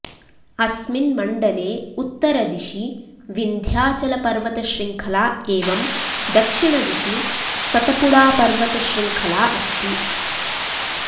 अस्मिन् मण्डले उत्तरदिशि विन्ध्याचलपर्वतशृङ्खला एवं दक्षिणदिशि सतपुडापर्वतशृङ्खला अस्ति